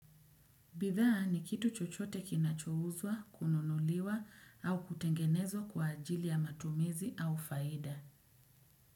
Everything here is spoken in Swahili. Bidhaa ni kitu chochote kinachouzwa, kununuliwa au kutengenezwa kwa ajili ya matumizi au faida.